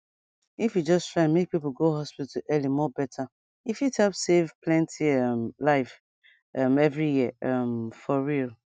if we just try make people go hospital early more better e fit help save plenty um life um every year um for real